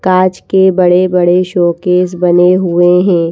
काच के बड़े-बड़े शोकेस बने हुए हैं।